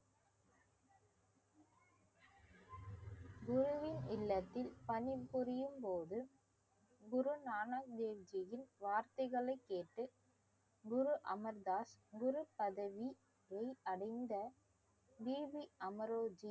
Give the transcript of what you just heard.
குருவின் இல்லத்தில் பணிபுரியும் போது குரு நானாக் தேவ்ஜியின் வார்த்தைகளைக் கேட்டு குரு அமர்தாஸ் குரு பதவியில் அடைந்த அமரோஜி